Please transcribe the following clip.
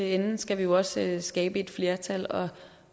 ende skal vi jo også skabe et flertal